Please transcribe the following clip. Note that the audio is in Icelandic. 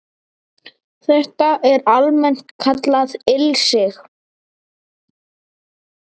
Þetta er almennt kallað ilsig